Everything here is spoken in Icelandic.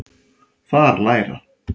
Þar læra